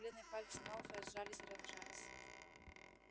бледные пальцы малфоя сжались и разжались